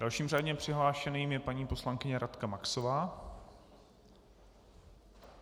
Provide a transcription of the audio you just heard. Dalším řádně přihlášeným je paní poslankyně Radka Maxová.